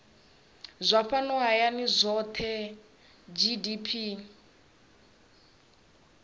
zwa fhano hayani zwohe gdp